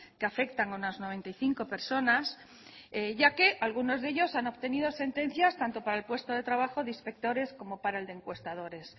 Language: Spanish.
que afectan a unas noventa y cinco personas ya que algunos de ellos han obtenido sentencias tanto para el puesto de trabajo de inspectores como para el de encuestadores